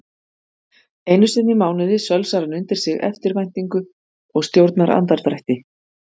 Einusinni í mánuði sölsar hann undir sig eftirvæntingu og stjórnar andardrætti.